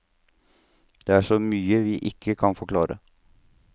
Det er så mye vi ikke kan forklare.